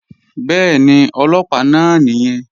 Bẹ́ẹ̀ni, Ọlọ́pàá náà nìyẹn